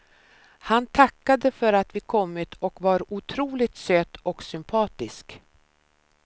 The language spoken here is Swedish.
Han tackade för att vi kommit och var otroligt söt och sympatisk.